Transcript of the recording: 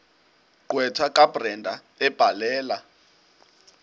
gqwetha kabrenda ebhalela